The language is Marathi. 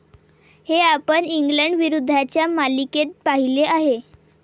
हे आपण इंग्लंड विरुद्धच्या मालिकेत पाहिले आहे.